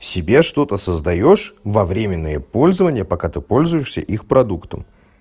себе что-то создаёшь во временное пользование пока ты пользуешься их продуктом